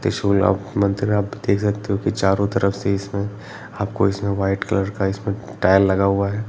तिरसुल मे मंदिर आप देख सकते हो की चारों तरफ से इसमे आपको इसमे व्हाइट कलर का इसमे टाइल्स लगा हुआ हे ।